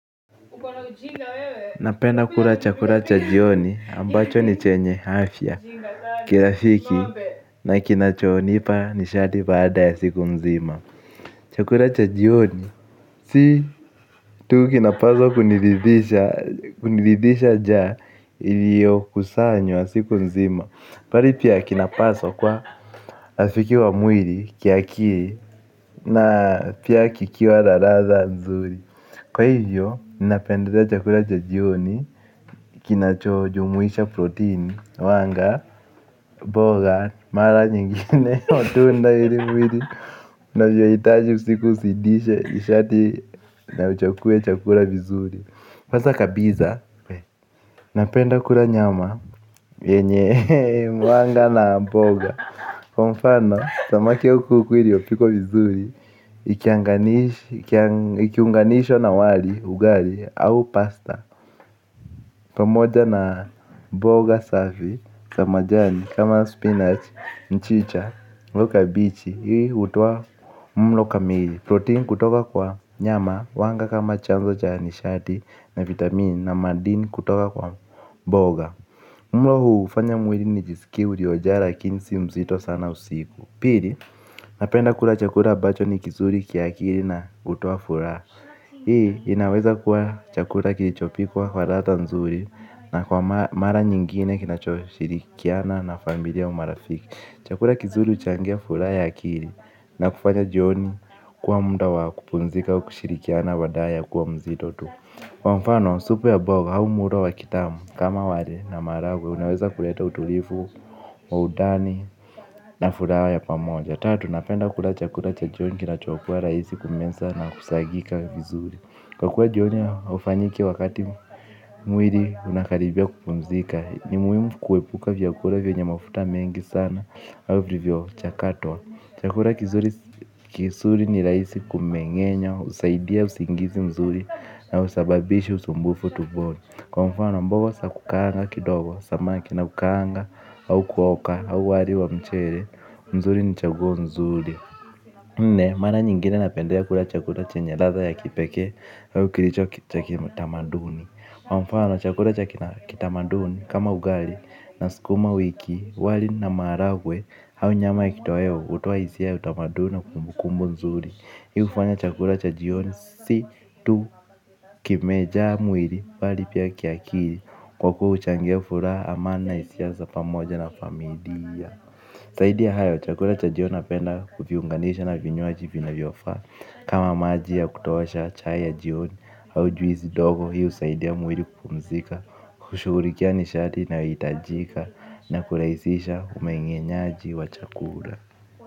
Napenda kula chakula cha jioni ambacho ni chenye afya kirafiki na kinachonipa nishati baada ya siku nzima. Chakula cha jioni si tu kinapaswa kuniridisha kuniridhisha njaa iliyokusanywa siku nzima bali pia kinapaswa kuwa rafiki wa mwili kiakili na pia kikiwa na ladha mzuri. Kwa hivyo, ninapendelea chakula cha jioni, kinachojumwisha protein, wanga, mboga, mara nyingine, matunda ili mwili unavyohitaji usiku uzidishe, nishati na uchukue chakula vizuri hasa kabisa, napenda kula nyama, yenye, wanga na mboga. Kwa mfano, samaki au kuku iliyopikwa vizuri, ikiunganishwa na wali, ugali, au pasta. Pamoja na mboga safi, za majani, kama spinach, mchicha, au kabeji, hii hutoa mlo kamili. Protein kutoka kwa nyama, wanga kama chanzo cha nishati, na vitamin, na madini kutoka kwa mboga. Mlo huu hufanya mwili nijisikie uliojaa lakini si mzito sana usiku. Pili, napenda kula chakula ambacho ni kizuri kiakili na hutoa furaha. Hii, inaweza kuwa chakula kilichopikwa kwa ladha nzuri na kwa mara nyingine kinachoshirikiana na familia au marafiki. Chakula kizuri huchangia furaha akili na kufanya jioni kuwa muda wa kupumzika kushirikiana badala kuwa mzito tu. Kwa mfano, supu ya mboga au mlo tamu kama wali na maharagwe, unaweza kuleta utulivu wa undani na furaha ya pamoja. Tatu, napenda kula chakula cha jioni kinachokuwa rahisi kumeza na kusagika vizuri. Kwa kuwa jioni haufanyi kila wakati mwili unakaribia kupumzika. Ni muhimu kuepuka vyakula vyenye mafuta mengi sana au vilivyochakatwa. Chakula kizuri kizuri ni rahisi kumengenya, husaidia usingizi mzuri na husababishi usumbufu tumboni. Kwa mfano mboga za kukaanga kidogo. Samaki au kuoka au wali wa mchele mzuri ni chaguo nzuri mara nyingine napendelea kula chakula chenye latha ya kipekee au kilicho cha kitamaduni kwa mfano chakula cha kitamaduni kama ugali na sukuma wiki. Wali na maharagwe au nyama ya kitoweo hutoa hisia utamaduni na kumbukumbu nzuri. Hii hufanya chakula cha jioni si tu kimejaa mwili bali pia kiakili kwa huchangia furaha amani na hisia za pamoja na familia zaidi ya hayo chakula cha jioni napenda kuviunganisha na vinywaji vinavyofaa kama maji ya kutosha chai ya jioni au juisi ndogo hiyo husaidia mwili kupumzika kushughulikia nishati inayohitajika na kurahisisha umengenyaji wa chakula.